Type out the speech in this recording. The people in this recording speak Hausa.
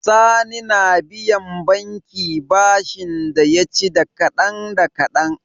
Sani na biyan banki bashin da yaci da kadan da kadan